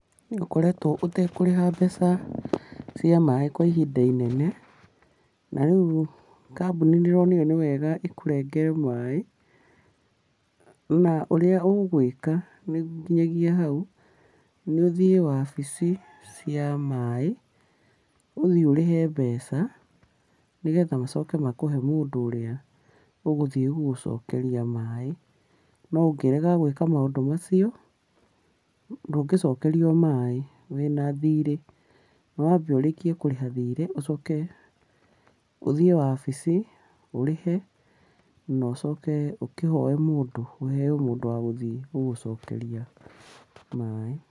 Nĩũkoretwo ũtekũrĩha mbeca cia maaĩ kwa ihinda inene, na rĩu kambuni nĩ ĩronire nĩwega ĩkũrengere maaĩ, na ũrĩa ũgwĩka nginyagia hau, nĩ ũthiĩ wabici cia maaĩ, ũthiĩ ũrĩhe mbeca, nĩgetha macoke makũhe mũndũ ũrĩa ũgũthiĩ gũgũcokeria maaĩ. No ũngĩrega gwĩka maũndũ macio, ndũngĩcokerio maaĩ wĩna thiri. Nĩ wambe ũrĩkie kũrĩha thirĩ, ũcoke ũthiĩ wabici, ũrĩhe, na ũcoke ũkĩhoe mũndũ ũheo mũndũ wa gũthiĩ gũgũcokeria maaĩ.